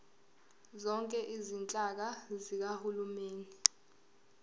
zonke izinhlaka zikahulumeni